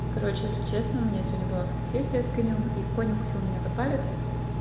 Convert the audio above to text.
короче если честно у меня сегодня была фотосессия с конём и конь укусил меня за палец